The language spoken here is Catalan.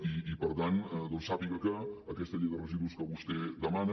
i per tant doncs sàpiga que aquesta llei de residus que vostè demana